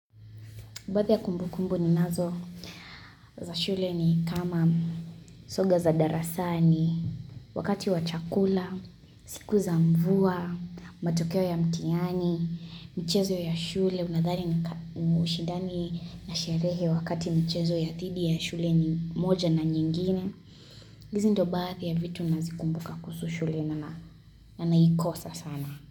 Baadhi ya kumbukumbu ni nazo za shule ni kama soga za darasani, wakati wa chakula, siku za mvua, matokeo ya mtihani, michezo ya shule. Unadhani ni ushidani na sherehe wakati mchezo ya dhidi ya shule ni moja na nyingine. Hizi ndio baadhi ya vitu ninazikumbuka kuhusu shule na naikosa sana.